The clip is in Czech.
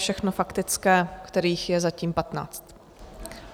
Všechno faktické, kterých je zatím patnáct.